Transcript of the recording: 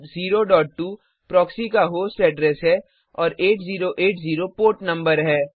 102402 proxy का host address है और 8080 पोर्ट नंबर है